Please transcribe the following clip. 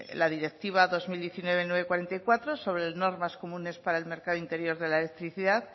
la directiva dos mil diecinueve barra novecientos cuarenta y cuatro sobre normas comunes para el mercado interior de la electricidad